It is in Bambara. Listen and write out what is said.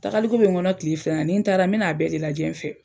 Taagaliko bɛ n kɔnɔ kile fila in na, ni n taara n bɛna n'a bɛɛ de lajɛ n fɛ.